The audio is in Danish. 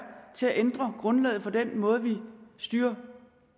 til at ændre grundlaget for den måde vi styrer